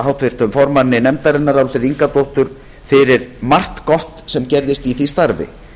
háttvirtum formanni nefndarinnar álfheiði ingadóttur fyrir margt gott sem gerðist í því starfi